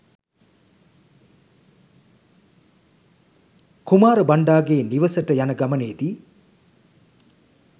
කුමාර බණ්ඩාගේ නිවෙසට යන ගමනේදී